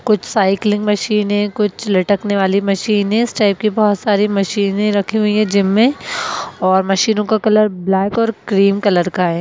कुछ साइकिलिंग मशीने कुछ लटकने वाली मशीने इस टाइप की बहोत सारी मशीने रखी हुइ हैं जिम में और मशीनो का कलर ब्लैक और क्रीम कलर का है।